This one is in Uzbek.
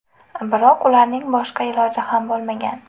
Biroq ularning boshqa iloji ham bo‘lmagan.